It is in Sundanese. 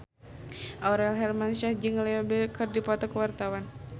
Aurel Hermansyah jeung Leo Bill keur dipoto ku wartawan